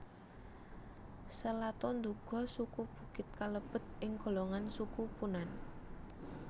Selato nduga suku Bukit kalebet ing golongan Suku Punan